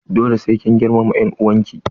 Dole sai kin girmama en'uwan ki!